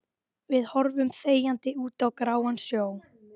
Við horfum þegjandi út á gráan sjó.